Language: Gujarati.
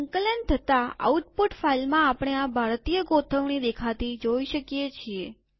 સંકલન થતાઆઉટપુટ ફાઈલમાં આપણે આ ભારતીય ગોઠવણી દેખાતી જોઈ શકીએ છીએ